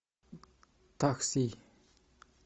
такси